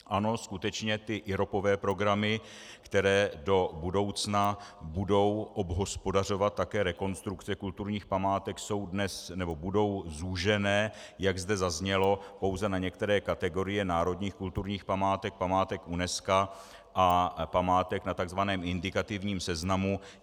Ano, skutečně ty iropové programy, které do budoucna budou obhospodařovat také rekonstrukce kulturních památek, budou zúžené, jak zde zaznělo, pouze na některé kategorie národních kulturních památek, památek UNESCO a památek na tzv. indikativním seznamu.